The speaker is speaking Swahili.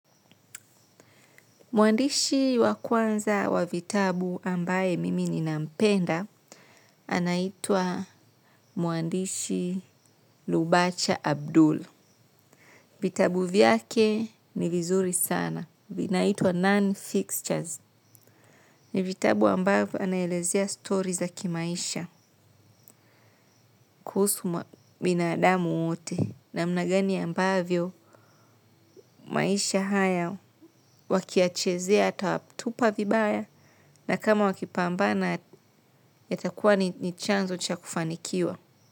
Mwandishi wa kwanza wa vitabu ambaye mimi ninampenda anaitwa mwandishi Lubacha Abdul. Vitabu vyake ni vizuri sana, vinaitwa non-fixtures. Ni vitabu ambavyo anaelezea stori za kimaisha kuhusu binadamu wote namna gani ambavyo maisha haya waki ya chezea ata watupa vibaya na kama wakipambana yatakuwa ni chanzo cha kufanikiwa.